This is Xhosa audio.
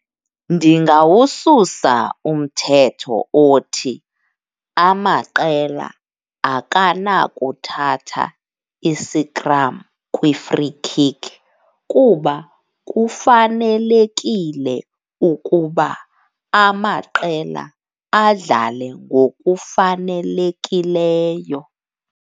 Ndingawususa umthetho othi amaqela akanakuthatha isikram kwi-free kick kuba kufanelekile ukuba amaqela adlale ngokufanelekileyo.